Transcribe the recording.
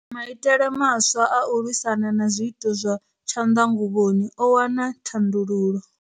Maitele maswa a u lwisana na zwiito zwa tshanḓanguvhoni o wana thandululo.